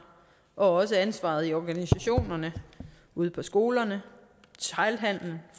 og ansvaret i organisationerne ude på skolerne